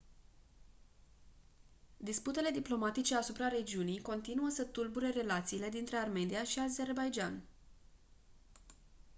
disputele diplomatice asupra regiunii continuă să tulbure relațiile dintre armenia și azerbaidjan